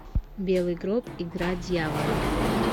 белый гроб игра дьявола